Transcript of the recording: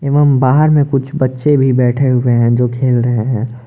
एवंम बाहर में कुछ बच्चे भी बैठे हुए हैं जो खेल रहे हैं।